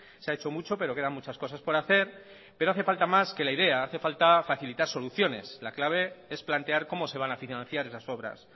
se ha hecho mucho pero quedan muchas cosas por hacer pero hace falta más que la idea hace falta facilitar soluciones la clave es plantear cómo se van a financiar esas obras